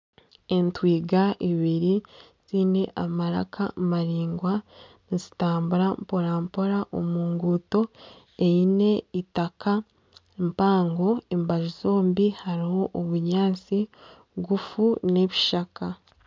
Entwiga ibiri ziine amaraka maraingwa nizitambura mporampora omu nguuto eitaka, mpango embaju zombi hariho obunyaatsi bugufu nana ebishaka .